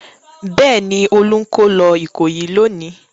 Bẹ́ẹ̀ ni, Olú ń kó lọ Ìkòyí lónìí.